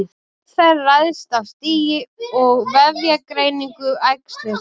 Meðferð ræðst af stigi og vefjagreiningu æxlisins.